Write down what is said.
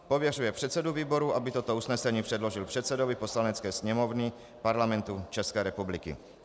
Pověřuje předsedu výboru, aby toto usnesení předložil předsedovi Poslanecké sněmovny Parlamentu České republiky.